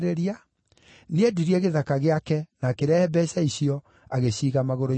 nĩendirie gĩthaka gĩake na akĩrehe mbeeca icio, agĩciiga magũrũ-inĩ ma atũmwo.